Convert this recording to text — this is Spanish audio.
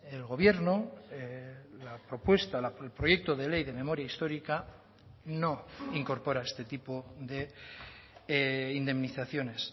el gobierno la propuesta el proyecto de ley de memoria histórica no incorpora este tipo de indemnizaciones